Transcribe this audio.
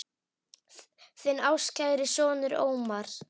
Þinn ástkæri sonur, Ómar.